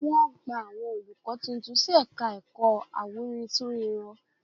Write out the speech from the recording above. Wọ́n gba àwọn olùkọ́ tuntun sí ẹ̀ka ẹ̀kọ́ awúrintúnrinrọ